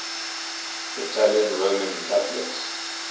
italian roman catholics